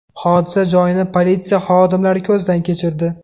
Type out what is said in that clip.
Hodisa joyini politsiya xodimlari ko‘zdan kechirdi.